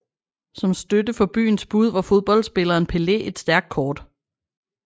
Som støtte for byens bud var fodboldspilleren Pelé et stærkt kort